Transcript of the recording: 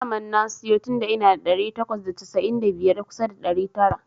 Daman na siyo tunda ina da ɗari takwas da casa'in da biyar kusa ɗari tara.